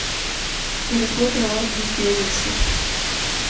гарри поттер и орден феникса